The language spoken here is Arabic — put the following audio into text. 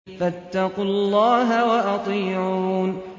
فَاتَّقُوا اللَّهَ وَأَطِيعُونِ